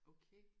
Okay